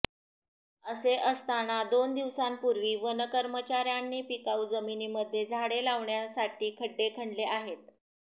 असे असताना दोन दिवसापूर्वी वन कर्मचार्यांनी पिकाऊ जमिनीमध्ये झाडे लावण्यासाठी खड्डे खणले आहेत